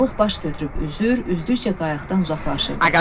Balıq baş götürüb üzür, üzdükcə qayıqdan uzaqlaşırdı.